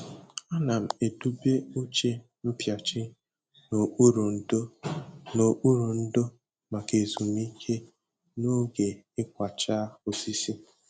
Ana m edobe oche mpịachi n'okpuru ndò n'okpuru ndò maka ezumike n'oge ịkwachaa osisi.